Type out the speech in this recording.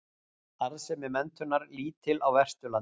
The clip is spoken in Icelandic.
Arðsemi menntunar lítil á Vesturlandi